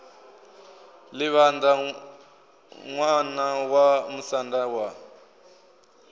livhaṋda ṋwana wa musanda wa